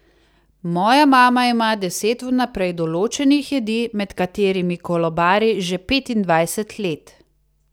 Moja mama ima deset vnaprej določenih jedi, med katerimi kolobari že petindvajset let.